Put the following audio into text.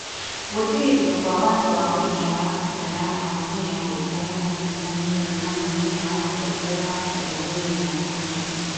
Gwĩtĩkĩrio kwa watho wa ũikia wa kura ya mawoni nĩ ambunge arĩa manyitaniire na mũnini wa mũtongoria wa bũrũri William Ruto ,